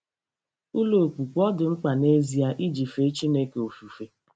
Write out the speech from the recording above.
Ụlọ okpukpe ọ̀ dị mkpa n'ezie iji fee Chineke ofufe?